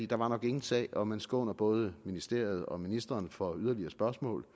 der var nok ingen sag og man skåner både ministeriet og ministeren for yderligere spørgsmål